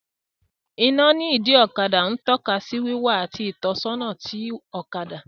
Iná ní ìdí ọkadà ń tọ́ka sí wíwá àti ìtọ́sọ́nà ti ọ̀kadà